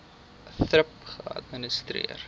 thrip geadministreer